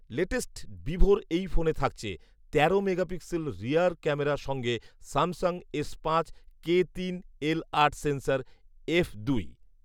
latest ভিভোর এই ফোনে থাকছে তেরো মেগাপিক্সেল রিয়ার ক্যামেরা সঙ্গে স্যামসাং এস পাঁচ কে তিন এল আট সেন্সর, এফ দুই